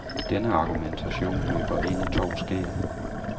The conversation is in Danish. Denne argumentation løber ind i to skær.